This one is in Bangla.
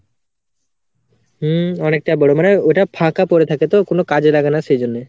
হম অনেকটা বড়ো মানে ওটা ফাঁকা পরে থাকে তো কোনো কাজে লাগেনা সেজন্যে।